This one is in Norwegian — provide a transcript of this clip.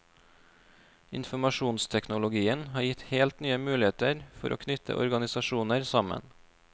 Informasjonsteknologien har gitt helt nye muligheter for å knytte organisasjoner sammen.